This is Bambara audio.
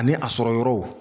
Ani a sɔrɔ yɔrɔw